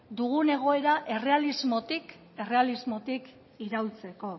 dugun egoera errealismotik iraultzeko